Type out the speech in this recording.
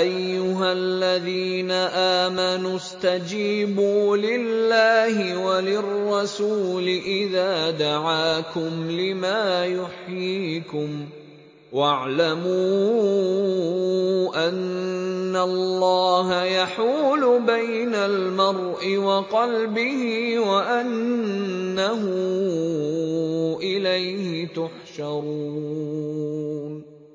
أَيُّهَا الَّذِينَ آمَنُوا اسْتَجِيبُوا لِلَّهِ وَلِلرَّسُولِ إِذَا دَعَاكُمْ لِمَا يُحْيِيكُمْ ۖ وَاعْلَمُوا أَنَّ اللَّهَ يَحُولُ بَيْنَ الْمَرْءِ وَقَلْبِهِ وَأَنَّهُ إِلَيْهِ تُحْشَرُونَ